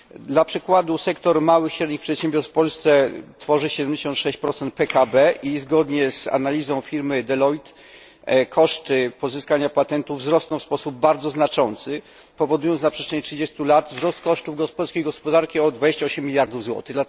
Dla przykładu, sektor małych i średnich przedsiębiorstw w Polsce tworzy 76 PKB i zgodnie z analizą firmy Deloitte koszty pozyskania patentów wzrosną w sposób bardzo znaczący, powodując na przestrzeni 30 lat wzrost kosztów polskiej gospodarki o 28 mld złotych.